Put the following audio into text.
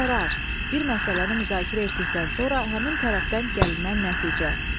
Qərar, bir məsələni müzakirə etdikdən sonra həmin tərəfdən gəlinən nəticə.